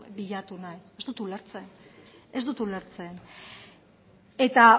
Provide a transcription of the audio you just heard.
bilatu nahi ez dut ulertzen ez dut ulertzen eta